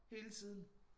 Hele tiden